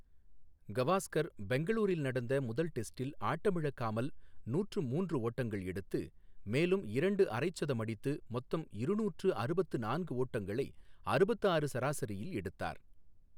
கவாஸ்கர் பெங்களூரில் நடந்த முதல் டெஸ்டில் ஆட்டமிழக்காமல் நூற்று மூன்று ஓட்டங்கள் எடுத்து, மேலும் இரண்டு அரை சதம் அடித்து மொத்தம் இருநூற்று அறுபத்து நான்கு ஓட்டங்களை அறுபத்து ஆறு சராசரியில் எடுத்தார்.